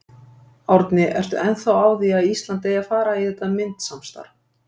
Árni, ertu ennþá á því að Ísland eigi að fara í þetta myntsamstarf?